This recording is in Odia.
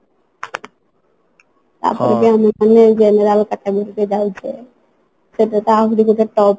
ଆଉ ଆମେ ତ ପୁଣି ଏଇ general category ରେ ଯାଉଛେ ସେଟାତ ଆହୁରି ଗୋଟେ top